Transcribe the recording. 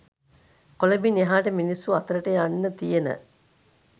කොළඹින් එහාට මිනිස්සු අතරට යන්න තියෙන